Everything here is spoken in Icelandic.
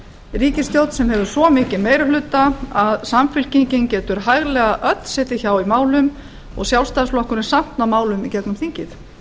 ríkisstjórn sem hefur svo mikinn meiri hluta að samfylkingin getur hæglega öll setið hjá í málum og sjálfstæðisflokkurinn samt náð málum í gegnum þingið